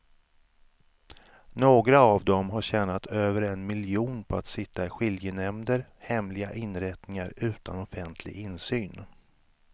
Några av dem har tjänat över en miljon på att sitta i skiljenämnder, hemliga inrättningar utan offentlig insyn.